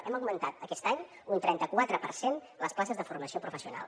hem augmentat aquest any un trenta quatre per cent les places de formació professional